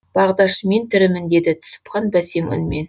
бағдаш мен тірімін деді түсіпхан бәсең үнмен